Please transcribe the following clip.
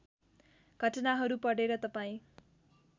घटनाहरू पढेर तपाईँ